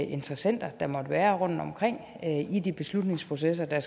interessenter der måtte være rundtomkring i de beslutningsprocesser der